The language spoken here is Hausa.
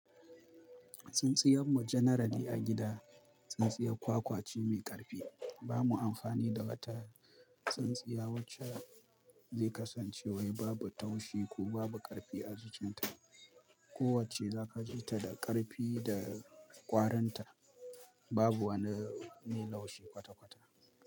Tsintsiyar mu generally a gida, tsintsiya kwakwa ce mai ƙarfi. Ba mu amfani da wata tsintsiya wacce zai kasance wai babu taushi ko babu ƙarfi ajikinta. Ko wacce za ka ji ta da ƙarfi da ƙwarinta, babu wani mai laushi kwata-kwata.